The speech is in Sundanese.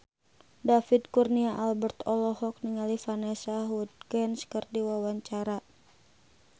David Kurnia Albert olohok ningali Vanessa Hudgens keur diwawancara